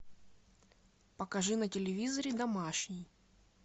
покажи на телевизоре домашний